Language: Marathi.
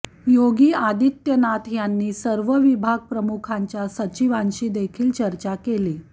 योगी आदित्यनाथ यांनी सर्व विभाग प्रमुखांच्या सचिवांशी देखील चर्चा केली